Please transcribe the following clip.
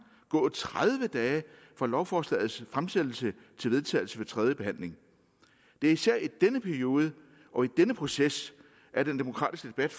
gå tredive dage fra lovforslagets fremsættelse til vedtagelse ved tredje behandling det er især i denne periode og i denne proces at den demokratiske debat